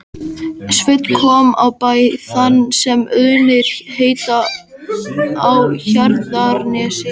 Sveinn kom á bæ þann sem Auðnir heita á Hjarðarnesi.